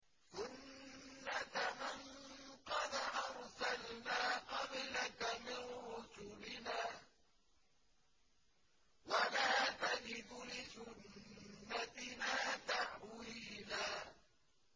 سُنَّةَ مَن قَدْ أَرْسَلْنَا قَبْلَكَ مِن رُّسُلِنَا ۖ وَلَا تَجِدُ لِسُنَّتِنَا تَحْوِيلًا